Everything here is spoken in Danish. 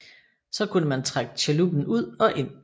Så kunne man trække chaluppen ud og ind